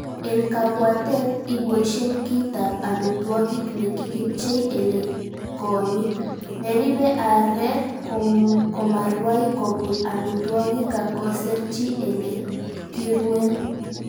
En kabwatet, iboishen kit ab amitwogik nekikipchei ele kong'iik, neribe aareek komarwai kobun amitwogik ak koserchi ele kiruen.